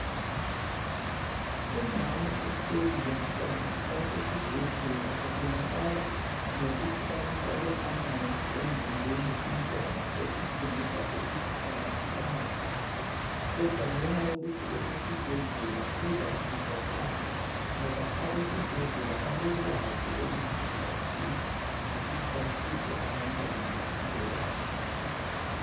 Umama uhleli lomntwana basesibhedlela kubonakala ngokuthi bamfake amanzi emzimbeni umntwana okutshengisa ukuthi akaphilanga kahle . Kodwa ngenxa yokuthi esesibhedlela uzasizakala ngoba abesibhedllea balolwazi kakhulu ukuthi basize abantwana baphile kahle.